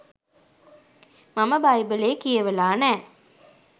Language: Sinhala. මම බයිබලේ කියවලා නෑ.